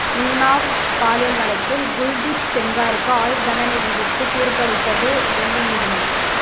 உன்னாவ் பாலியல் வழக்கில் குல்தீப் செங்காருக்கு ஆயுள் தண்டனை விதித்து தீர்ப்பளித்தது டெல்லி நீதிமன்றம்